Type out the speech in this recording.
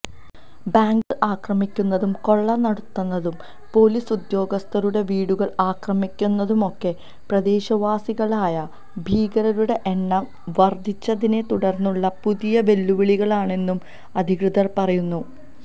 ബാങ്കുകൾ ആക്രമിക്കുന്നതും കൊള്ള നടത്തുന്നതും പൊലീസുദ്യോഗസ്ഥരുടെ വീടുകൾ ആക്രമിക്കുന്നതുമൊക്കെ പ്രദേശവാസികളായ ഭീകരരുടെ എണ്ണം വർധിച്ചതിനെത്തുടർന്നുള്ള പുതിയ വെല്ലുവിളികളാണെന്നും അധികൃതർ പറയുന്നു